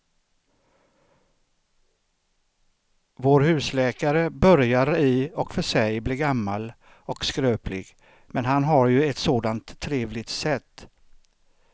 Vår husläkare börjar i och för sig bli gammal och skröplig, men han har ju ett sådant trevligt sätt!